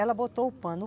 Ela botou o pano.